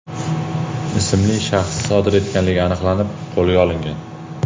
ismli shaxs sodir etganligi aniqlanib, qo‘lga olingan.